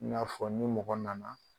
N y'a fɔ ni mɔgɔ nana